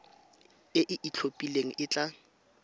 e e itlhophileng e tla